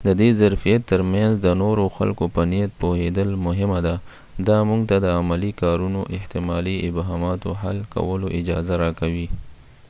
د دی ظرفیت ترمینځ د نورو خلکو په نیت پوهیدل مهمه ده دا موږ ته د عملي کارونو احتمالي ابهاماتو حل کولو اجازه راکوي